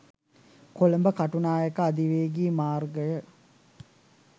කොළඹ කටුනායක අධිවේගී මාර්ගය